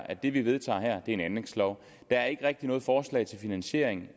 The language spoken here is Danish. at det vi vedtager her er en anlægslov der er ikke rigtig noget forslag til finansiering